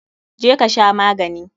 Je ka sha magani!